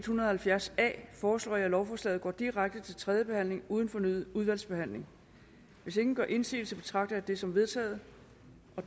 hundrede og halvfjerds a foreslår jeg at lovforslaget går direkte til tredje behandling uden fornyet udvalgsbehandling hvis ingen gør indsigelse betragter jeg det som vedtaget